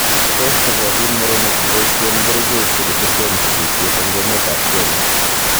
Tos chobotiin mureenik koboisien gericheek chegiteten sigisiet en emet ab Kenya?